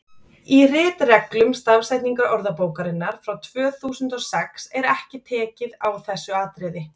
í ritreglum stafsetningarorðabókarinnar frá tvö þúsund og sex er ekki tekið á þessu atriði